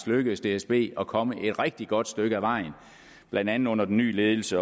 lykkedes dsb at komme et rigtig godt stykke ad vejen blandt andet under den nye ledelse